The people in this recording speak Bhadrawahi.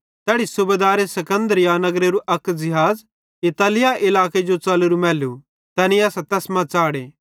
तैड़ी सूबेदारे सिकन्दरिया नगरेरू अक ज़िहाज़ इतालिया इलाके जो च़लेरू मैलू तैनी असां तैस मां च़ाढ़े